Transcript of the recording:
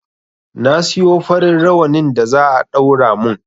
Na siyo farin rawanin da za a ɗaura mun